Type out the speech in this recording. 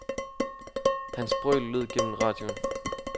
Hans brøl lød gennem radioen.